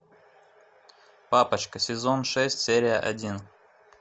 папочка сезон шесть серия один